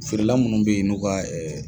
Feerela munnu bɛ yen n'u ka